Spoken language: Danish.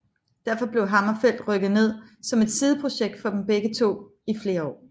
Derfor blev HammerFall rykket ned som et sideprojekt for dem begge to i flere år